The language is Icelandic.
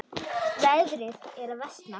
Veðrið er að versna.